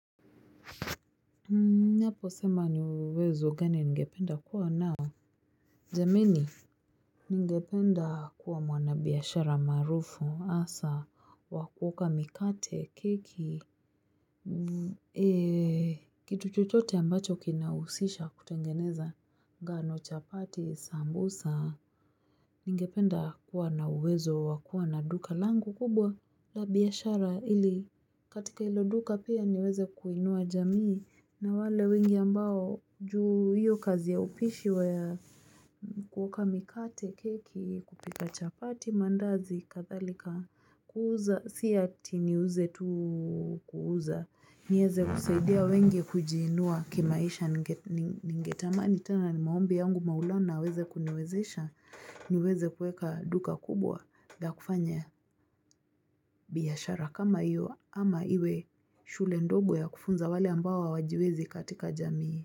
Ninapo sema ni uwezo gani ningependa kuwa nao. Jameni. Ningependa kuwa mwana biashara maarufu asa. Wakuoka mikate, keki. Kitu chochote ambacho kinahusisha kutengeneza. Ngano chapati, sambusa. Ningependa kuwa na uwezo wakuwa na duka langu kubwa. La biashara ili. Katika hilo duka pia niweze kuinua jamii. Na wale wengi ambao juu hiyo kazi ya upishi wa ya mkuoka mikate keki kupika chapati mandazi kathalika kuuza siya ti ni uze tu kuuza. Nieze kusaidia wenge kujiinua kimaisha ningetamani tena ni maombi yangu maulana aweze kuniwezesha niweze kueka duka kubwa na kufanya biashara kama iyo ama iwe shule ndogo ya kufunza wale ambao hawajiwezi katika jamii.